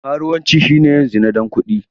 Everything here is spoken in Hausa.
Karuwanci shine yin zina don kuɗi.